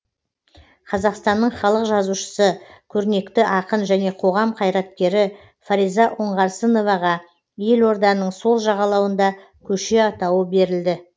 қазақстанның халық жазушысы көрнекті ақын және қоғам қайраткері фариза оңғарсыноваға елорданың сол жағалауында көше атауы берілді